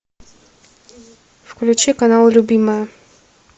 включи канал любимая